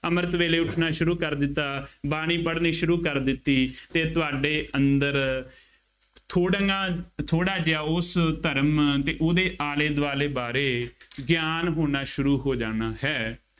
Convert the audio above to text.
ਅੰਮ੍ਰਿਤ ਵੇਲੇ ਉੱਠਣਾ ਸ਼ੁਰੂ ਕਰ ਦਿੱਤਾ। ਬਾਣੀ ਪੜ੍ਹਣੀ ਸ਼ੁਰੂ ਕਰ ਦਿੱਤੀ ਅਤੇ ਤੁਹਾਡੇ ਅੰਦਰ ਥੋੜ੍ਹ ਨਾ, ਥੋੜ੍ਹਾ ਜਿਹਾ ਉਸ ਧਰਮ ਅਤੇ ਉਹਦੇ ਆਲੇ ਦੁਆਲੇ ਬਾਰੇ ਗਿਆਨ ਹੋਣਾ ਸ਼ੁਰੂ ਹੋ ਜਾਣਾ ਹੈ।